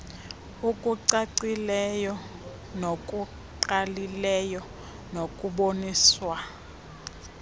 okucacileyo nokungqalileyo nokuboniswa